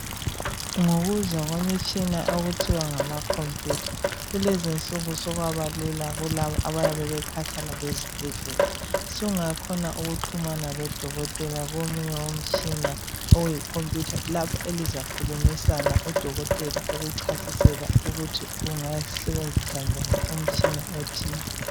Ngokuza kwemitshina okuthiwa ngama computer kulezo isuku sokwabalu kulaba abayabe bekhatshana lesibhedlela sungakhona ukuxhumana lodokotela komunye umtshina oyi computer lapho elizakhulumisana udokotela akuchasisele ukuthi ungasebenzisa njani umtshina othile